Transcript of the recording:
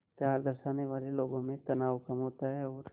प्यार दर्शाने वाले लोगों में तनाव कम होता है और